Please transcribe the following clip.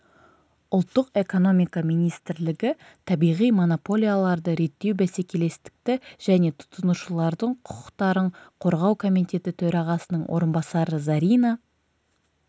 ұлттық экономика министрлігі табиғи монополияларды реттеу бәсекелестікті және тұтынушылардың құқықтарын қорғау комитеті төрағасының орынбасары зарина